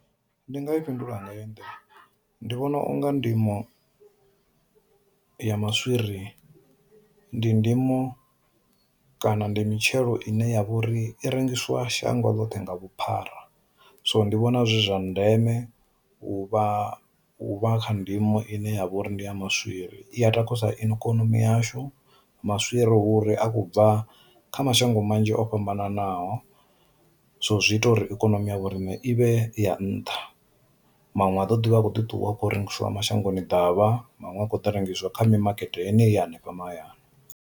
Ndi nga i fhindula nga heyi nḓila, ndi vhona u nga ndimo ya maswiri ndi ndimo kana ndi mitshelo ine ya vha uri i rengiswa shango ḽoṱhe nga vhuphara so ndi vhona zwi zwa ndeme u vha u vha kha ndimo ine ya vha uri ndi ya maswiri i ya takusa ikonomi yashu, maswiri huri a khou bva kha mashango manzhi o fhambananaho, so zwi ita uri ikonomi ya vhorine ivhe ya nṱha, manwe a ḓo dovha a kho ḓi ṱuwa a kho rengisiwa mashangoni davha manwe a kho ḓi rengisiwa kha mimakete yeneyi ya hanefha mahayani.